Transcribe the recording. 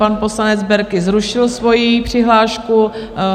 Pan poslanec Berki zrušil svoji přihlášku.